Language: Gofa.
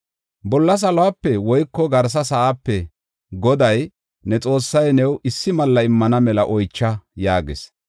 “Bolla saluwape woyko garsa sa7aape Goday, ne Xoossay new issi malla immana mela oycha” yaagis.